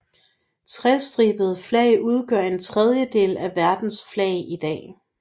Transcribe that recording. Trestribede flag udgør en tredjedel af verdens flag i dag